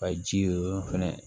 Ka ji o yɔrɔ fɛnɛ